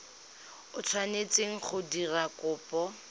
o tshwanetseng go dira kopo